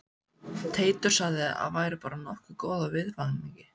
Teitur sagði að væri bara nokkuð góð af viðvaningi